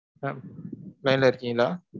Mam line ல இருக்கீங்களா?